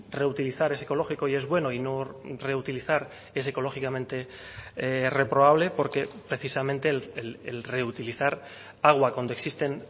reutilizar es ecológico y es bueno y no reutilizar es ecológicamente reprobable porque precisamente el reutilizar agua cuando existen